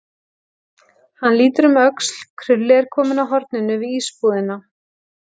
Hann lítur um öxl, Krulli er kominn að horninu við ísbúðina.